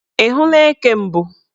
Ị hụla eke mbụ?